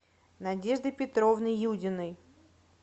надежды петровны юдиной